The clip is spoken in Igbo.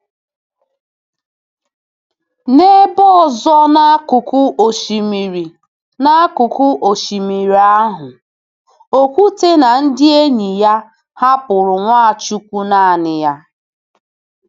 N’ebe ọzọ n’akụkụ osimiri n’akụkụ osimiri ahụ, Okwute na ndị enyi ya hapụrụ Nwachukwu naanị ya.